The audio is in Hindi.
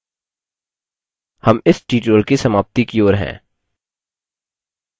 हम इस ट्यूटोरियल की समाप्ति की ओर हैं